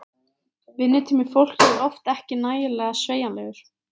Vinnutími fólks er oft ekki nægilega sveigjanlegur.